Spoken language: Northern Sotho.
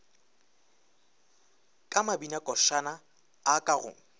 ka mabinakošana a ka go